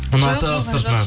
ұнатып сыртынан